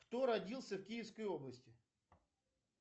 кто родился в киевской области